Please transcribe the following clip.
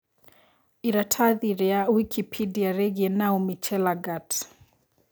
ĩratathi ria Wikipedia rĩigie Naomi Chelagat